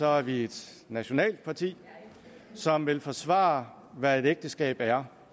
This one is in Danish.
er vi i et nationalt parti som vil forsvare hvad et ægteskab er